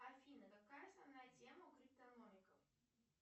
афина какая основная тема у криптономиков